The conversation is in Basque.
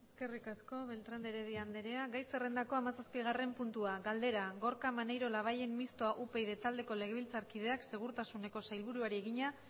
eskerrik asko beltrán de heredia andrea gai zerrendako hamazazpigarren puntua galdera gorka maneiro labayen mistoa upyd taldeko legebiltzarkideak segurtasuneko sailburuari egina